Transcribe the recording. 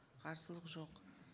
қарсылық жоқ